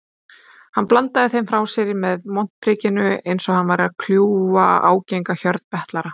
Hann bandaði þeim frá sér með montprikinu einsog hann væri að kljúfa ágenga hjörð betlara.